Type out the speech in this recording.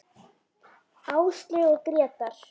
Áslaug og Grétar.